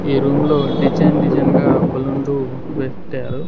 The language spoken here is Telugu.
ఈ రూము లో డిజైన్ డిజైన్ గా బెలూన్లు బెట్టారు .